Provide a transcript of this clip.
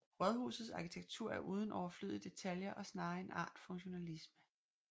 Rådhusets arkitektur er uden overflødige detaljer og snarere en art funktionalisme